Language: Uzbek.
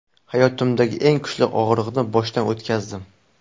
Hayotimdagi eng kuchli og‘riqni boshdan o‘tkazdim.